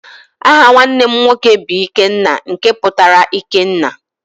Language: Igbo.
Aha nwanne m nwoke bụ Ikenna nke pụtara ike nna.